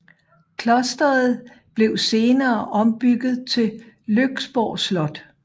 Klosteret blev senere ombygget til Lyksborg Slot